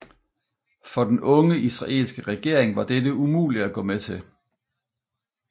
For den unge israelske regering var dette umuligt at gå med til